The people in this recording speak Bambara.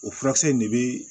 O furakisɛ in de bɛ